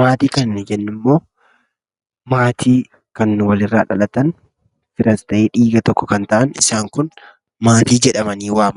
Maatii kan nu jennu immoo maatii kan wal irraa dhalatan firas ta'ee dhiiga tokko kan ta'an isaan kun maatii jedhamanii waamamu.